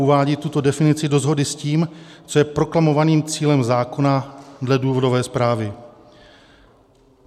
Uvádí tuto definici do shody s tím, co je proklamovaným cílem zákona dle důvodové zprávy.